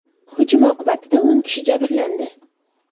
Hujum oqibatida o‘n kishi jabrlandi.